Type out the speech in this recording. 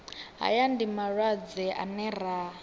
haya ndi malwadze ane ra